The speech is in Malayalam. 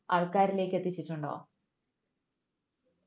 ആൾക്കരിലേക്ക് എത്തിച്ചിട്ടുണ്ടോ